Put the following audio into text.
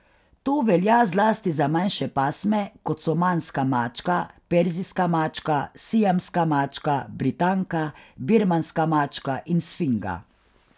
To velja zlasti za manjše pasme, kot so manska mačka, perzijska mačka, siamska mačka, britanka, birmanska mačka in sfinga.